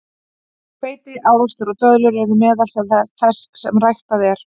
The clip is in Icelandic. Hveiti, ávextir og döðlur eru meðal þess sem ræktað er.